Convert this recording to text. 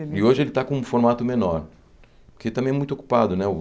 E hoje ele está com um formato menor, porque também é muito ocupado, né?